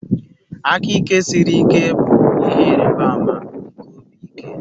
Aka ike siri ike bụ ihe ịrịba ama nke obi ike.